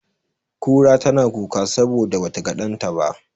Kura tana kuka saboda ba ta ga ɗanta ba.